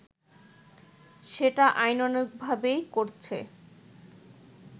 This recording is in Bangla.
সেটা আইনানুগভাবেই করছে